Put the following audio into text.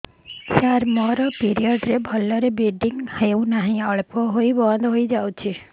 ସାର ମୋର ପିରିଅଡ଼ ରେ ଭଲରେ ବ୍ଲିଡ଼ିଙ୍ଗ ହଉନାହିଁ ଅଳ୍ପ ହୋଇ ବନ୍ଦ ହୋଇଯାଉଛି